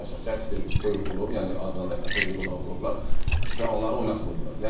Real danışaq, heç bir böyük klub, yəni azərbaycanlı əsas liqadan olan klublar cavanları oynatmırdılar.